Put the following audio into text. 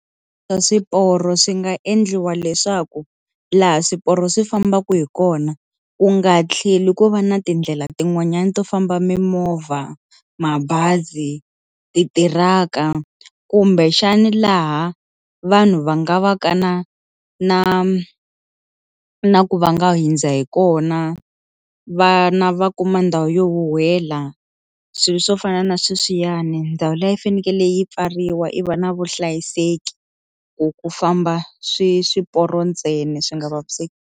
Swa swiporo swi nga endliwa leswaku laha swiporo swi fambaka hi kona ku nga tlheli ku va na tindlela tin'wanyani to famba mimovha, mabazi, ti tiraka kumbexani laha vanhu va nga va ka na na na ku va nga hindza hi kona vana va kuma ndhawu yo huwela swilo swo fana na sweswiyani ndhawu liya yi fanekele yi pfariwa i va na vuhlayiseki ku ku famba swi swiporo ntsena swi nga vaviseki.